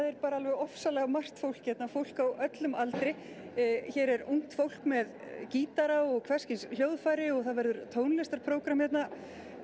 er bara alveg ofsalega margt fólk hérna fólk á öllum aldri hér er ungt fólk með gítara og hvers kyns hljóðfæri og það verður tónlistarprógramm hérna